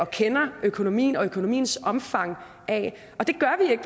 kender økonomien og økonomiens omfang af og det gør